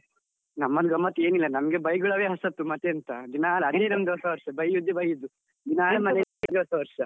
ನಮ್ಮಲ್ ಗಮ್ಮತ್ ಏನು ಇಲ್ಲ, ನಮಗೆ ಬೈಗುಳವೇ ಹೊಸತ್ತು ಮತ್ತೆಂತ ದಿನಾಲು ಅದೇ ನಮ್ಮದು ಹೊಸ ವರ್ಷ ಬೈಯುದೇ ಬೈಯ್ಯುವುದು, ಅದೇ ನಮಗೆ ಹೊಸ ವರ್ಷ.